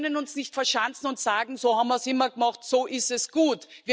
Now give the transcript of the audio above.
Wir können uns nicht verschanzen und sagen So haben wir es immer gemacht, so ist es gut.